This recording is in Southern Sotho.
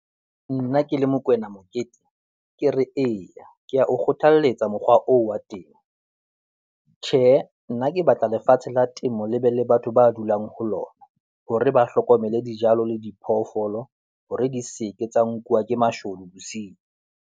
Nna ke le Mokoena Mokete, ke re eya, ke ya o kgothalletsa mokgwa oo wa temo. Tjhehe, nna ke batla lefatshe la temo le be le batho ba dulang ho lona hore ba hlokomele dijalo le diphoofolo hore di seke tsa nkuwe ke mashodu bosiu.